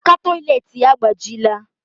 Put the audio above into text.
Aka toilet ya agbajiela